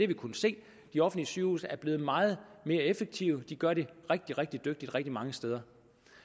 vi kunnet se de offentlige sygehuse er blevet meget mere effektive de gør det rigtig rigtig dygtigt rigtig mange steder